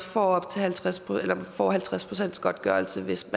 får halvtreds får halvtreds procents godtgørelse hvis